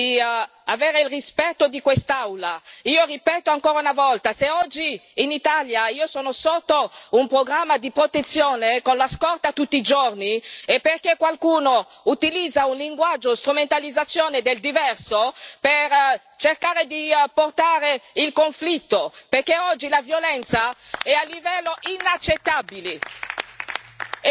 Chiedo di avere il rispetto di quest'Aula. Io ripeto ancora una volta se oggi in Italia io sono sotto un programma di protezione, con la scorta tutti i giorni, è perché qualcuno utilizza un linguaggio di strumentalizzazione del diverso per cercare di creare un conflitto, perché oggi la violenza è a livelli inaccettabili.